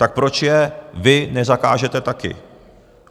Tak proč je vy nezakážete taky?